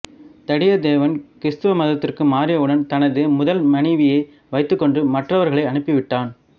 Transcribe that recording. தடியத்தேவன் கிறிஸ்தவ மதத்திற்கு மாறியவுடன் தனது முதல் மனைவியை வைத்துக்கொண்டு மற்றவர்களை அனுப்பி விட்டான்